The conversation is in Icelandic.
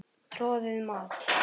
Troðið mat?